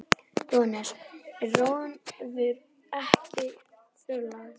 Jóhannes: En ránum hefur ekki fjölgað?